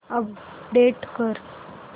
update कर